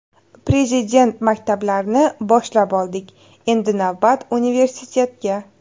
Prezident maktablarini boshlab oldik, endi navbat universitetga.